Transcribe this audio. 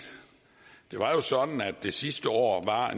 det var jo sådan at der sidste år var